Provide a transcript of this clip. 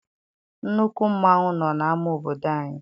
Nnukwu mmanwụ nọ n'ama obodo anyị.